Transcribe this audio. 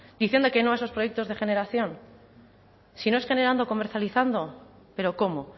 diciendo que no a esos proyectos de generación si no es generando comercializando pero cómo